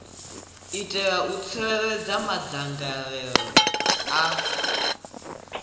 itela u tsireledza madzangalelo a